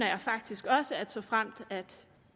jeg faktisk også at såfremt